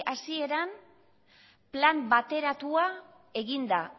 hasieran plan bateratua eginda